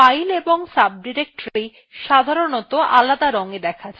files এবং subdirectory সাধারনতঃ আলাদা রংএ দেখা যায়